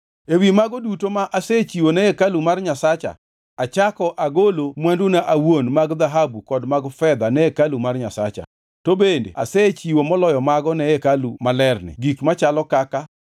Ewi mago duto ma asechiwo ne hekalu mar Nyasacha achako agolo mwanduna awuon mag dhahabu kod mag fedha ne hekalu mar Nyasacha. To bende asechiwo moloyo mago ne hekalu malerni gik machalo kaka: